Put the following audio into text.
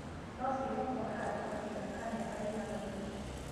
No cigo kwa handũ kahinda ka mĩaka ĩng'anoina.